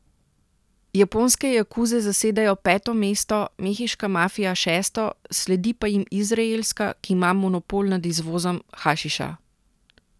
Japonske jakuze zasedajo peto mesto, mehiška mafija šesto, sledi pa jim izraelska, ki ima monopol nad izvozom hašiša.